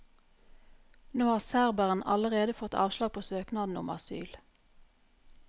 Nå har serberen allerede fått avslag på søknaden om asyl.